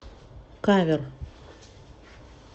кавер